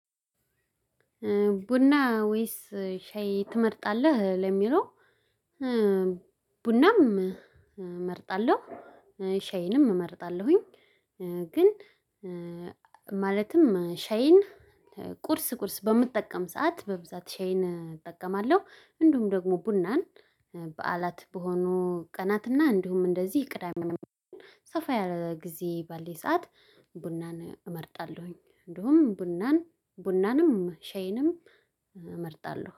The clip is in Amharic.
ቡና ወይስ ሻይ ትመርጣለህ ለሚለው? ቡናም እመርጣለሁ ሻይንም እመርጣለሁኝ። ግን ሻይን ቁርስ ቁርስ በምጠቀም ሰዓት በብዛት ሻይን እጠቀማለሁ። እንዲሁም ደግሞ ቡናን በዓላት በሆኑ ቀናት እና እንዲሁም እንደዚህ ቅዳሜ ሰፋ ያለ ጊዜ ባለኝ ሰዓት ቡናን እመርጣለሁኝ። እንደውም ቡናን ቡናንም ሼይንም እመርጣለሁ